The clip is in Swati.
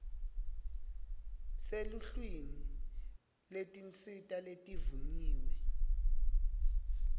seluhlwini lwetinsita letivunyiwe